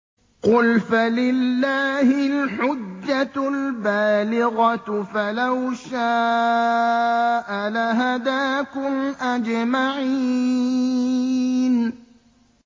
قُلْ فَلِلَّهِ الْحُجَّةُ الْبَالِغَةُ ۖ فَلَوْ شَاءَ لَهَدَاكُمْ أَجْمَعِينَ